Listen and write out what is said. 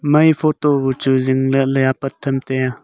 mai photo chu jin lah ley apat tai tiya.